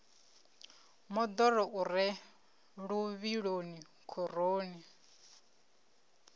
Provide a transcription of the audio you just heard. moḓoro u re luvhiloni khoroni